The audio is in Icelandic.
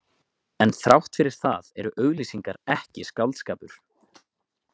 En þrátt fyrir það eru auglýsingar ekki skáldskapur.